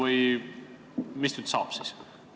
Mis nüüd siis saab?